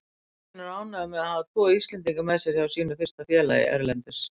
Kristinn er ánægður með að hafa tvo Íslendinga með sér hjá sínu fyrsta félagi erlendis.